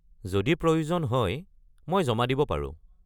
যদি প্ৰয়োজন হয়, মই জমা দিব পাৰো।